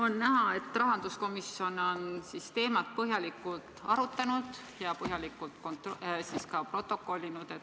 On näha, et rahanduskomisjon on teemat põhjalikult arutanud ja põhjalikult ka protokollinud.